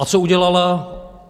A co udělala?